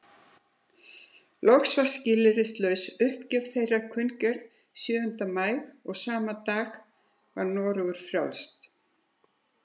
Loks var skilyrðislaus uppgjöf þeirra kunngerð sjöunda maí og sama dag var Noregur frjáls.